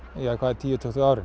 tíu til tuttugu árin